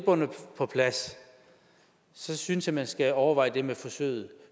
på plads synes jeg man skal overveje det med forsøget